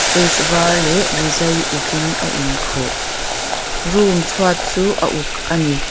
case var leh rizai uk in a in khuh room chu a uk ani.